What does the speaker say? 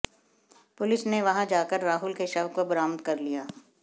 police ने वहां जाकर राहुल के शव को बरामद कर लिया